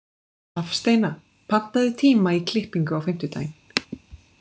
Hafsteina, pantaðu tíma í klippingu á fimmtudaginn.